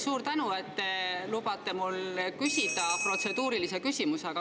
Suur tänu, et te lubate mul küsida protseduurilise küsimuse!